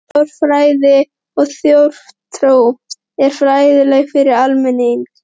ÞJÓÐFRÆÐI OG ÞJÓÐTRÚ er fræðirit fyrir almenning.